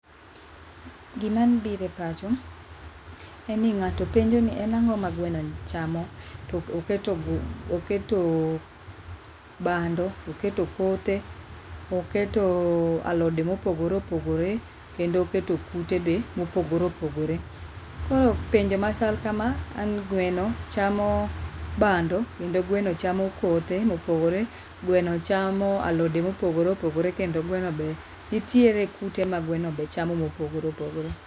Gima biro epacha en ni ng'ato penjoni en ang'o ma gwenoni chamo to oketo, to ketoo, bando to oketo kothe, to oketoo alode mopogoree opogore kendo oketo kute be mopogore opogore. Koro penjo machal kama en ni gweno chamo bando kendo gweno chamo kothe mopogore, gweno chamo alode mopogore opogore kendo gweno be nitiere kute ma gweno be chamo mopogore opogore